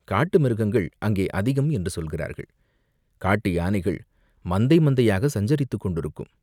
"காட்டு மிருகங்கள் அங்கே அதிகம் என்று சொல்கிறார்கள்" "காட்டு யானைகள் மந்தை மந்தையாகச் சஞ்சரித்துக் கொண்டிருக்கும்.